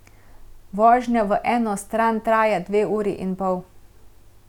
Vožnja v eno stran traja dve uri in pol.